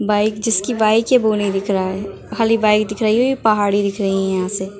Bike जिसकी bike है वो नहीं दिख रहा है खाली बाइक दिख रही है पहाड़ी दिख रही है यहाँ से ।